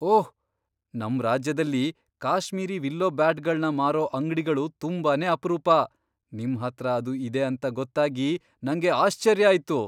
ಓಹ್! ನಮ್ ರಾಜ್ಯದಲ್ಲಿ ಕಾಶ್ಮೀರಿ ವಿಲ್ಲೋ ಬ್ಯಾಟ್ಗಳ್ನ ಮಾರೋ ಅಂಗ್ಡಿಗಳು ತುಂಬಾನೇ ಅಪ್ರೂಪ. ನಿಮ್ಹತ್ರ ಅದು ಇದೆ ಅಂತ ಗೊತ್ತಾಗಿ ನಂಗೆ ಆಶ್ಚರ್ಯ ಆಯ್ತು.